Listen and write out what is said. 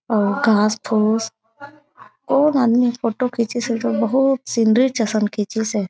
अउ घास- फुस अउ आदमी फोटो खीचिस हे जो बहुत सुन्दर आसन खीचीस हे।